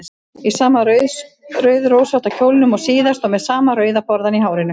Í sama rauðrósótta kjólnum og síðast og með sama rauða borðann í hárinu.